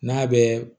N'a bɛ